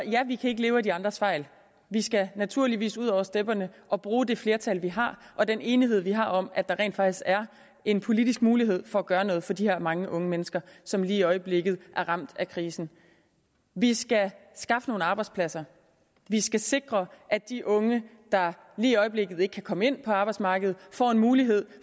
ja vi kan ikke leve af de andres fejl vi skal naturligvis ud over stepperne og bruge det flertal vi har og den enighed vi har om at der rent faktisk er en politisk mulighed for at gøre noget for de her mange unge mennesker som lige i øjeblikket er ramt af krisen vi skal skaffe nogle arbejdspladser vi skal sikre at de unge der lige i øjeblikket ikke kan komme ind på arbejdsmarkedet får en mulighed